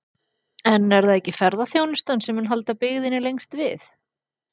En er það ekki ferðaþjónustan sem mun halda byggðinni lengst við?